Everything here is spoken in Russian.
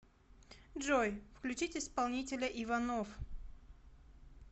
джой включить исполнителя иванов